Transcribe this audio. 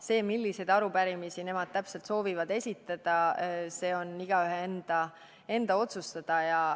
See, milliseid arupärimisi nad täpselt soovivad esitada, on igaühe enda otsustada.